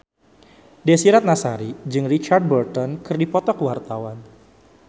Desy Ratnasari jeung Richard Burton keur dipoto ku wartawan